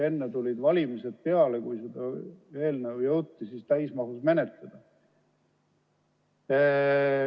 Enne tulid valimised peale, kui eelnõu jõuti täismahus menetleda.